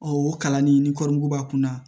o kalan nin kɔri mugu b'a kun na